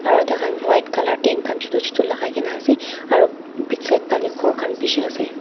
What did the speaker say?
aru tai khan white colour tent khan chutu chutu lagai kene ase aru big side phale ghor khan bishi ase.